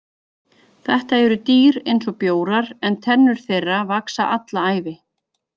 Þetta eru dýr eins og bjórar en tennur þeirra vaxa alla ævina.